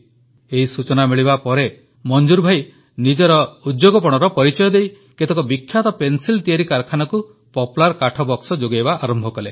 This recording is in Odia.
ଏହି ସୂଚନା ମିଳିବା ପରେ ମଂଜୁର ଭାଇ ନିଜ ଉଦ୍ଯୋଗପଣର ପରିଚୟ ଦେଇ କେତେକ ବିଖ୍ୟାତ ପେନ୍ସିଲ ତିଆରି କାରଖାନାକୁ ପପ୍ଲାର୍ କାଠବକ୍ସ ଯୋଗାଇବା ଆରମ୍ଭ କଲେ